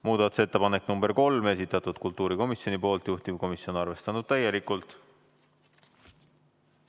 Muudatusettepanek nr 3, esitanud kultuurikomisjon, juhtivkomisjon on arvestanud seda täielikult.